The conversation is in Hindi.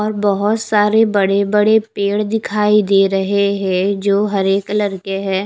और बहुत सारे बड़े बड़े पेड़ दिखाई दे रहे हैं जो हरे कलर के हैं।